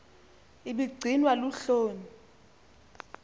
ibi gcinwa luhloni